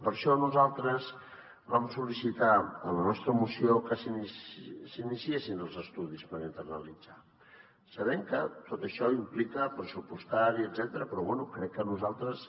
per això nosaltres vam sol·licitar en la nostra moció que s’iniciessin els estudis per internalitzar sabent que tot això implica pressupostari etcètera però bé crec que nosaltres